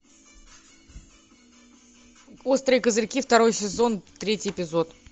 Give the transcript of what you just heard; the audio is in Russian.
острые козырьки второй сезон третий эпизод